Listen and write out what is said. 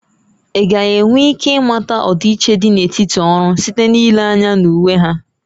Ị gaghị enwe ike ịmata ọdịiche dị n'etiti ọrụ site n'ile anya na uwe ha?